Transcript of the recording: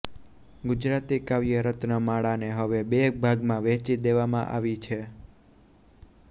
ગુજરાતી કાવ્ય રત્ન માળાને હવે બે ભાગમાં વહેંચી દેવામાં આવી છે